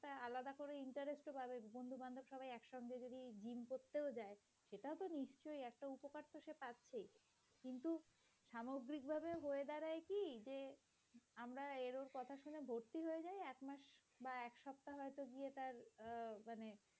বা এক সপ্তাহ হয়তো গিয়ে তার আহ মানে